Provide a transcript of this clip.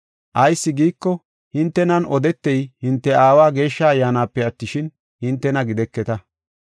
Ayis giiko, hintenan odetey hinte Aawa Geeshsha Ayyaanape attishin, hintena gideketa.